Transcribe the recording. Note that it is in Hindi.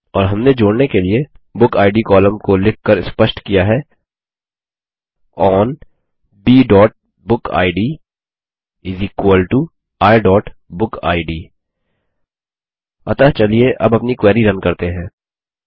और हमने जोड़ने के लिए बुकिड कॉलम को लिखकर स्पष्ट किया है ओन bबुकिड iबुकिड अतः चलिए अब अपनी क्वेरी रन करते हैं